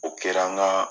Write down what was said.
O kɛra n ka